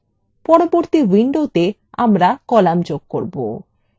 পরবর্তী window আমরা কলাম যোগ করব